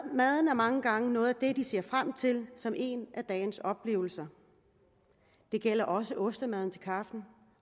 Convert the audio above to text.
maden er mange gange noget af det de ser frem til som en af dagens oplevelser det gælder også ostemaden til kaffen